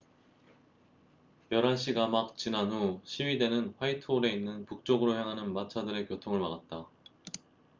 11시가 막 지난 후 시위대는 화이트홀에 있는 북쪽으로 향하는 마차들의 교통을 막았다